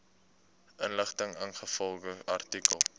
inligting ingevolge artikel